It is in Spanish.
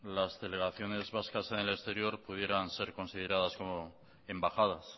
las delegaciones vascas en el exterior pudieran ser consideradas como embajadas